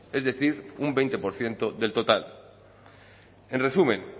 es decir un veinte por ciento del total en resumen